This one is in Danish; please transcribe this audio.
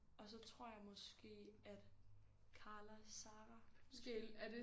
Og så tror jeg måske at Karla Sara måske